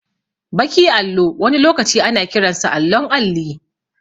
Baki allo wani lokaci ana kiransa allon alli